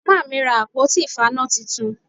Màmá mi ra àpótí ìfaná titun